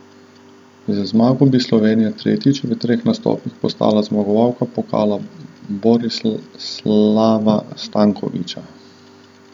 Z zmago bi Slovenija tretjič v treh nastopih postala zmagovalka pokala Borislava Stankovića.